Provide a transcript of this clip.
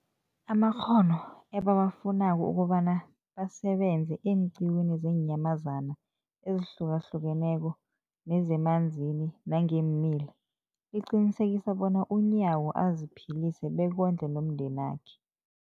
amakghono ebawafunako ukobana basebenze eenqiwini zeenyamazana ezihlukahlukeneko nezemanzini nangeemila, liqinisekisa bona uNyawo aziphilise bekondle nomndenakhe.